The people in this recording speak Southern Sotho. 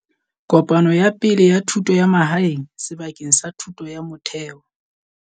Kopano ya Pele ya Thuto ya Mahae ng sebakeng sa thuto ya motheo.